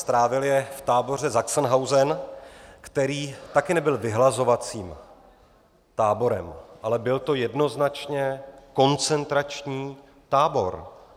Strávil je v tábore Sachsenhausen, který taky nebyl vyhlazovacím táborem, ale byl to jednoznačně koncentrační tábor.